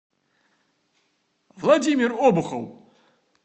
владимир обухов